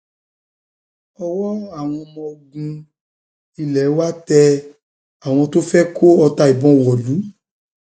ọwọ àwọn ọmọ ogun ogun ilé wa tẹ àwọn tó fẹ kó ọta ìbọn wọlú